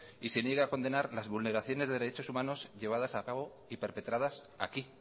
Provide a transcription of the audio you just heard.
y se niegue a condenar las vulneraciones de derechos humanos llevadas a cabo y perpetradas aquí